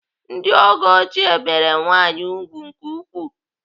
Ndị oge ochie bere nwaanyị ùgwù nke ukwuu.